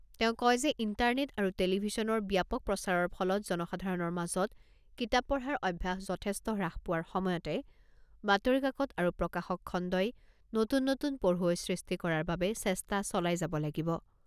তেওঁ কয় যে ইণ্টাৰনেট আৰু টেলিভিশ্যনৰ ব্যাপক প্ৰচাৰৰ ফলত জনসাধাৰণৰ মাজত কিতাপ পঢ়াৰ অভ্যাস যথেষ্ট হ্ৰাস পোৱাৰ সময়তে বাতৰি কাকত আৰু প্ৰকাশক খণ্ডই নতুন নতুন পঢ়ুৱৈ সৃষ্টি কৰাৰ বাবে চেষ্টা চলাই যাব লাগিব।